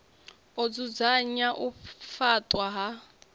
u dzudzanya u faṱwa ha